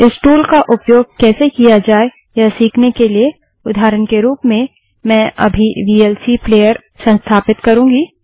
इस टूल का उपयोग कैसे किया जाय यह सीखने के लिए उदाहरण के रूप में मैं अभी वीएलसी प्लेअर संस्थापित करूँगी